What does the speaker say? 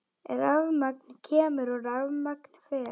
Rafmagn kemur og rafmagn fer.